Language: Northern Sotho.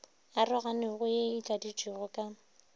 aroganego ye e tladitšwego ka